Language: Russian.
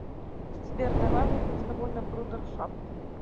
сбер давай выпьем с тобой на брудершафт